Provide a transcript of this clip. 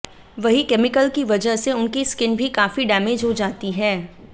वहीं केमिकल की वजह से उनकी स्किन भी काफी डैमेज हो जाती हैं